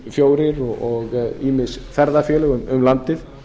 fjórir sinnum fjórir og ýmis ferðafélög um landið